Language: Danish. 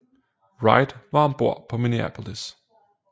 Wright var om bord på Minneapolis